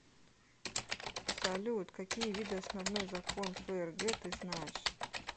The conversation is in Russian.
салют какие виды основной закон фрг ты знаешь